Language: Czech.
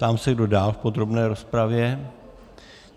Ptám se, kdo dál v podrobné rozpravě?